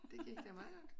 Det gik da meget godt